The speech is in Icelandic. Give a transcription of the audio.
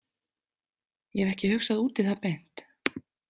Ég hef ekki hugsað út í það beint.